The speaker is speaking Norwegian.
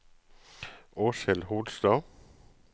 Åshild Holstad